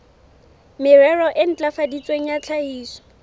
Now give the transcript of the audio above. merero e ntlafaditsweng ya tlhahiso